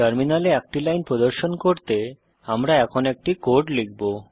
terminal এ একটি line প্রদর্শন করতে আমরা এখন একটি কোড লিখব